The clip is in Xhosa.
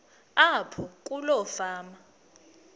apho kuloo fama